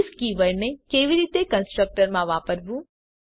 this કીવર્ડને કેવી રીતે કન્સ્ટ્રકટર માં વાપરવું